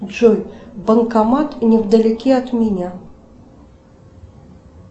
джой банкомат невдалеке от меня